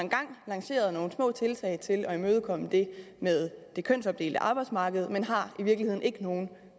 lanceret nogle små tiltag til at imødekomme det med det kønsopdelte arbejdsmarked men har i virkeligheden ikke nogen